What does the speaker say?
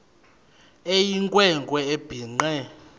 eyinkwe nkwe ebhinqe